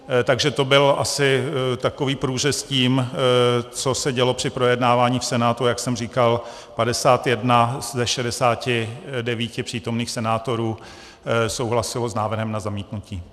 Takže to byl asi takový průřez tím, co se dělo při projednávání v Senátu, a jak jsem říkal, 51 ze 69 přítomných senátorů souhlasilo s návrhem na zamítnutí.